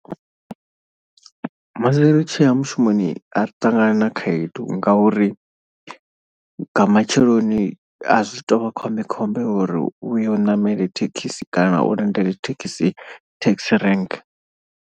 Musi ri tshi ya mushumoni ari ṱangani na khaedu ngauri nga matsheloni azwi to vha khombekhombe uri uyo ṋamele thekhisi kana u lindele thekhisi taxi rank.